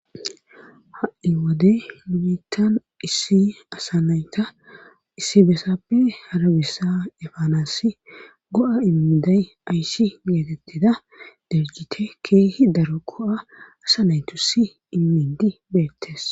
Ha7i wode munitan issi asanayta issi bessappe harabissa efaanasi go7a immiday ayssi geetettida derjite keehi daro ko7a asa naytu si immidi beettes.